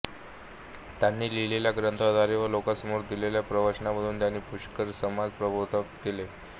त्यांनी लिहिलेल्या ग्रंथाद्वारे व लोकांसमोर दिलेल्या प्रवचनांमधून त्यांनी पुष्कळ समाजप्रबोधन केले